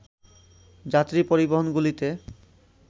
যাত্রী পরিবহনগুলিতে